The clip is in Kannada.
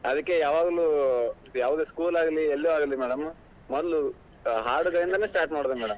ಅದಕ್ಕೆ ಯಾವಾಗ್ಲೂ ಯಾವದೇ school ಆಗ್ಲಿ ಎಲ್ಲೇ ಆಗ್ಲಿ madam ಮೊದ್ಲು ಹಾಡುಗಳಿಂದ start ಮಾಡೋದು madam .